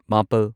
ꯃꯥꯄꯜ